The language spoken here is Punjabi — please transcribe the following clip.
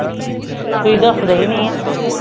ਦਸਦੇ ਈ ਨਹੀਂ ਆ